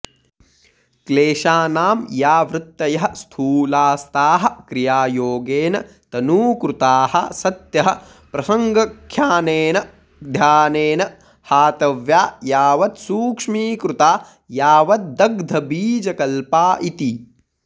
क्लेशानां या वृत्तयः स्थूलास्ताः क्रियायोगेन तनूकृताः सत्यः प्रसङ्ख्यानेन ध्यानेन हातव्या यावत्सूक्ष्मीकृता यावद्दग्धबीजकल्पा इति